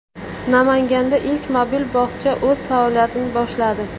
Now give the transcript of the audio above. Namanganda ilk mobil bog‘cha o‘z faoliyatini boshladi.